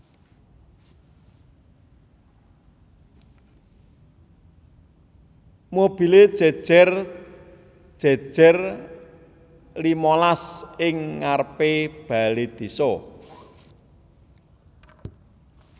Mobile jejer jejer limalas ing ngarepe bale desa